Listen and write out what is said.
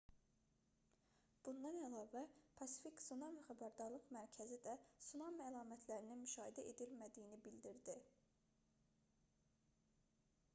bundan əlavə pasifik tsunami xəbərdarlıq mərkəzi də tsunami əlamətlərinin müşahidə edilmədiyini bildirdi